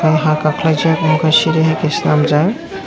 o ha kakelai jakh mokhe siri hai ke selamjak.